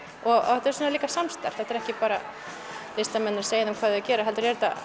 þetta er líka samstarf þetta er ekki bara listamenn að segja þeim hvað þeir eigi að gera heldur er þetta